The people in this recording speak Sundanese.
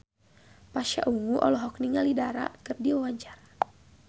Pasha Ungu olohok ningali Dara keur diwawancara